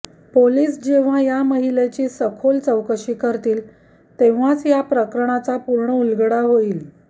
police जेव्हा या महिलेची सखोल चौकशी करतील तेव्हाच या प्रकरणाचा पूर्ण उलगडा होईल